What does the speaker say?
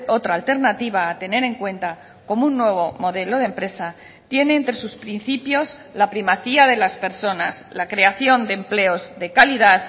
otra alternativa a tener en cuenta como un nuevo modelo de empresa tiene entre sus principios la primacía de las personas la creación de empleos de calidad